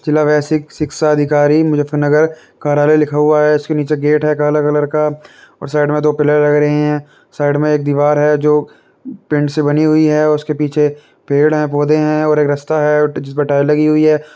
जिला बेसिक शिक्षा अधिकारी मुजफ्फर नगर कार्यालय लिखा हुआ है उसके नीचे गेट है काला कलर का और साइड में दो पिलर लग रहे हैं। साइड में एक दीवार है जो पेंट से बनी हुई है उसके पीछे पेड़ है पौधे है एक रास्ता है और जिसपे टाइल लगी हुई है।